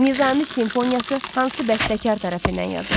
Nizami simfoniyası hansı bəstəkar tərəfindən yazılıb?